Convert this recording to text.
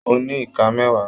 Mo ní iká mẹwa.